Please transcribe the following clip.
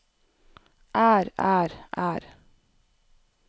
er er er